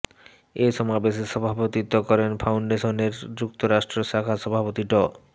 এ সমাবেশে সভাপতিত্ব করেন ফাউন্ডেশনের যুক্তরাষ্ট্র শাখার সভাপতি ড